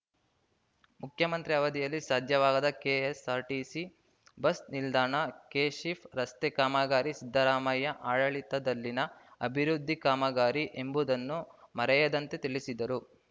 ಮುಖ್ಯಮಂತ್ರಿ ಅವಧಿಯಲ್ಲಿ ಸಾಧ್ಯವಾಗದ ಕೆಎಸ್‌ಆರ್‌ಟಿಸಿ ಬಸ್‌ ನಿಲ್ದಾಣ ಕೆಶಿಪ್‌ ರಸ್ತೆ ಕಾಮಗಾರಿ ಸಿದ್ದರಾಮಯ್ಯ ಆಡಳಿತದಲ್ಲಿನ ಅಭಿವೃದ್ಧಿ ಕಾಮಗಾರಿ ಎಂಬುದನ್ನು ಮರೆಯದಂತೆ ತಿಳಿಸಿದರು